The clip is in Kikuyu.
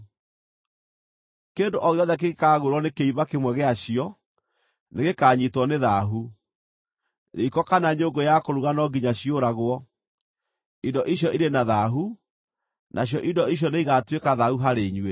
Kĩndũ o gĩothe kĩngĩkaagwĩrwo nĩ kĩimba kĩmwe gĩacio, nĩgĩkanyiitwo nĩ thaahu; riiko kana nyũngũ ya kũruga no nginya ciũragwo. Indo icio irĩ na thaahu, nacio indo icio nĩigatuĩka thaahu harĩ inyuĩ.